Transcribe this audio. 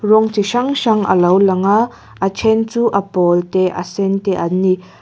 rawng chi hrang hrang alo lang a a ṭhen chu a pâwl te a sen te an ni.